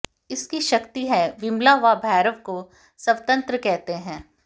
इसकी शक्ति है विमला व भैरव को संवत्र्त कहते हैं